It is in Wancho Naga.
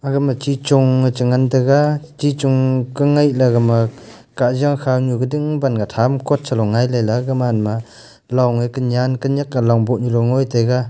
aga ma chi chong le cha ngan taga chi chong ka ngai la gama kajia kha nu gading banga tham kot chalo ngailey ley gag man ma long e kanyan kanyak ka long boh nu ngoi taga.